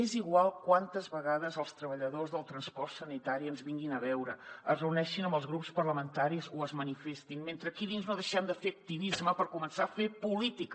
és igual quantes vegades els treballadors del transport sanitari ens vinguin a veure es reuneixin amb els grups parlamentaris o es manifestin mentre aquí dins no deixem de fer activisme per començar a fer política